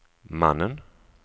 mannen